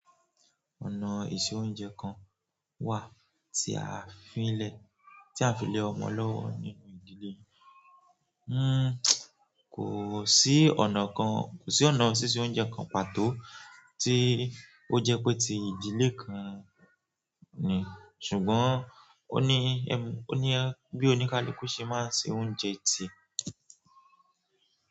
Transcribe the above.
Ọ̀nà ìse-oúnjẹ kan wà tí a fi le ti a fi le ọmọ lọ́wọ́ nínú ìdílé. Hmmm, kò sí ọ̀nà kan, kò sí ọ̀nà sísè oúnjẹ kan pàtó tí ó jẹ pé ti ìdílé kan ni ṣùgbọ́n o ní ẹmu, o ní ẹ, bí oníkálukú ṣe máa ń se oúnjẹ tí.